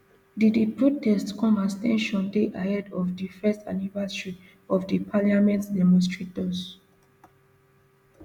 di di protest comes as ten sion dey ahead of di first anniversary of di parliament demonstrators